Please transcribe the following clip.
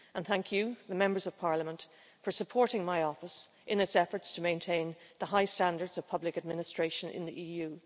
And thank you, the Members of Parliament, for supporting my office in its efforts to maintain the high standards of public administration in the EU.